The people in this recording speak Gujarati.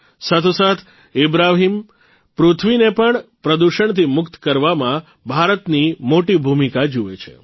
સાથોસાથ ઇબ્રાહીમ પૃથ્વીને પણ પ્રદૂષણથી મુક્ત કરવામાં ભારતની મોટી ભૂમિકા જુએ છે